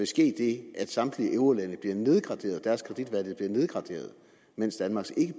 ske det at samtlige eurolandes blive nedgraderet mens danmarks ikke